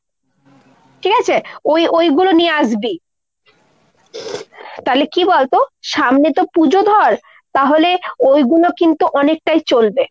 ঠিক আছে। ওই ওইগুলো নিয়ে আসবি। তালে কী বলতো সামনে তো পুজো ধর, তাহলে ওইগুলো কিন্তু অনেকটাই চলবে।